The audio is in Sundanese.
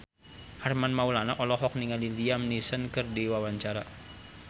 Armand Maulana olohok ningali Liam Neeson keur diwawancara